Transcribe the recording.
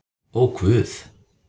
Ó guð!